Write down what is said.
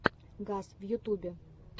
газ в ютубе